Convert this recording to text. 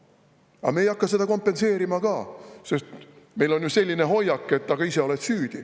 Aga nad ei hakka seda kompenseerima ka, sest neil on ju selline hoiak, et ise oled süüdi.